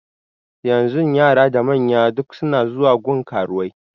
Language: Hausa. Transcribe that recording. Yanzun yara da manya duk suna zuwa gun karuwai